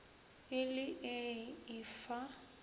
e le ee e fa